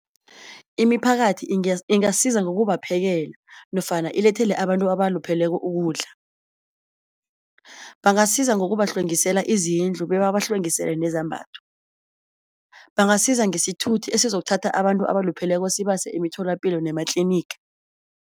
Imiphakathi ingasiza ngokubaphekela nofana ilethele abantu abalupheleko ukudla. Bangasiza ngokubahlwengisela izindlu bebabahlwengisele nezambatho. Bangasiza ngesithuthi esizokuthatha abantu abalupheleko sibase emitholapilo nematliniga.